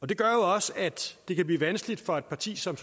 det gør jo også at det kan blive vanskeligt for et parti som